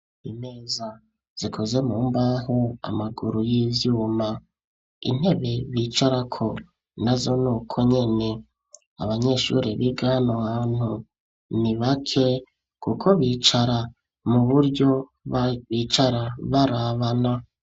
Imeza zikozwe mu mbaho, amaguru y'ivyuma. Intebe bicarako nazo nuko nyene. Abanyeshuri biga hano hantu ni bake, kuko bicara mu buryo bicara barabana.